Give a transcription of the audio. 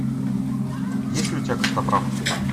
есть ли у тебя костоправ